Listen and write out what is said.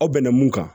Aw bɛnna mun kan